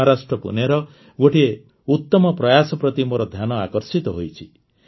ମହାରାଷ୍ଟ୍ର ପୁନେର ଗୋଟିଏ ଉତମ ପ୍ରୟାସ ପ୍ରତି ମୋର ଧ୍ୟାନ ଆକର୍ଷିତ ହୋଇଛି